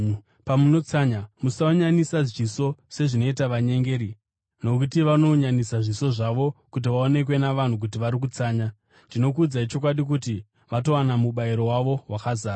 “Pamunotsanya, musaunyanisa zviso sezvinoita vanyengeri nokuti vanounyanisa zviso zvavo kuti vaonekwe navanhu kuti vari kutsanya. Ndinokuudzai chokwadi kuti vatowana mubayiro wavo wakazara.